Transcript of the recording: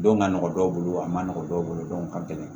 Don ka nɔgɔn dɔw bolo a man nɔgɔn dɔw bolo don ka gɛlɛn